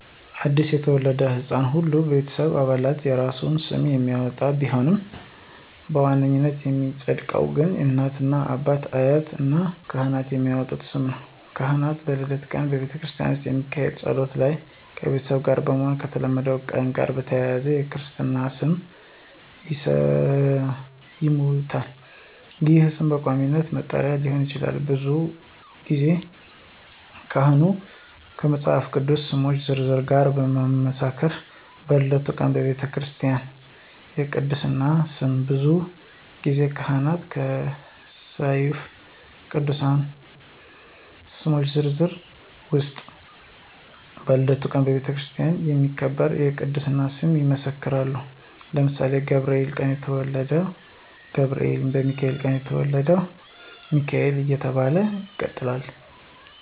አዲስ ለተወለደ ሕፃን ሁሉም የቤተሰብ አባላት የየራሱን ስም የሚያወጣ ቢሆንም በዋናነት የሚፀድቀው ግን እናት፣ አባት፣ አያት እና ካህን የሚያወጡት ስም ነው። ካህን በልደት ቀን በቤተክርስቲያን ውስጥ በሚካሄደው ጸሎት ላይ ከቤተሰቡ ጋር በመሆን ከተወለደበት ቀን ጋር በማያያዝ የክርስትና ስሙን ይሰይሙታል ይህም ስም በቋሚነት መጠሪያ ሊሆን ይችላል። ብዙ ጊዜ ካህኑ ከመፃፍ ቅዱስ ስሞች ዝርዝር ጋር በማመሳከር በልደቱ ቀን በቤተክርስቲያ የቅድስና ስም ብዙ ጊዜ ካህኑ ከሰፊው የቅዱሳን ስሞች ዝርዝር ውስጥ በልደቱ ቀን በቤተክርስቲያን የሚከበር የቅድስና ስም ይመሰክራሉ ለምሳሌ በገብርኤል ቀን የተወለደ ወልደ ገብርኤል፣ በሚካኤል የተወለደ ደግሞ ወልደ ሚካኤል እየተባለ ይቀጥላለ።